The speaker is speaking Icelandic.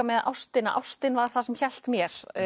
með ástina ástin var það sem hélt mér